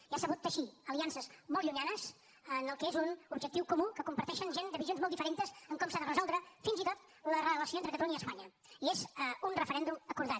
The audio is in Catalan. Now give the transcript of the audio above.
i ha sabut teixir aliances molt llunyanes en el que és un objectiu comú que comparteixen gent de visions molt diferents en com s’ha de resoldre fins i tot la relació entre catalunya i espanya i és un referèndum acordat